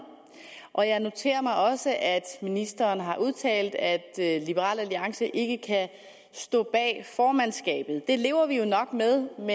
og jeg noterer mig også at ministeren har udtalt at liberal alliance ikke kan stå bag formandskabet det lever vi jo nok med men